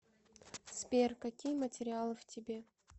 сбер какие материалы в тебе